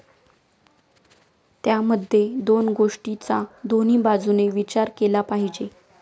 त्यामध्ये दोन गोष्टींचा दोन्ही बाजूने विचार केला पाहिजे.